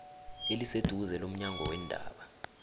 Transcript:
eliseduze lomnyango weendaba